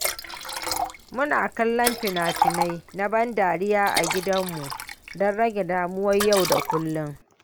Muna kallon fina-finai na ban dariya a gidanmu don rage damuwar yau da kullum.